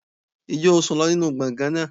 Ǹjẹ́ o sùn lọ nínú gbọ̀ngàn náà?